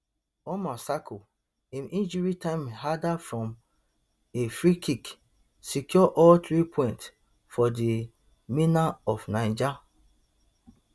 umar sako im injury time header from a freekick secure all three points for di mena of niger